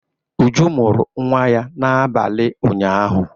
Uju mụrụ nwa ya n'abalị ụnyahụ